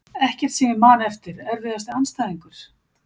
Ekkert sem ég man eftir Erfiðasti andstæðingur?